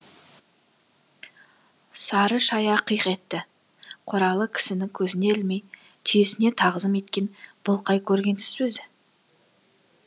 сары шая қиқ етті қоралы кісіні көзіне ілмей түйесіне тағзым еткен бұл қай көргенсіз өзі